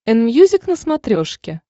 энмьюзик на смотрешке